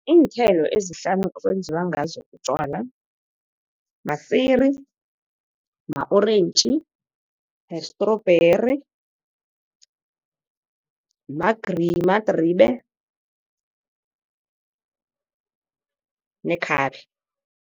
Iinthelo ezihlanu ekwenziwa ngazo utjwala, masiri, ma-orentji, ne-strawberry, madribe, nekhabe.